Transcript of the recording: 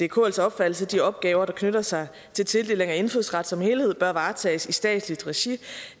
kls opfattelse at de opgaver der knytter sig til tildeling af indfødsret som helhed bør varetages i statsligt regi